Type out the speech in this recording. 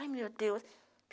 Ai, meu Deus.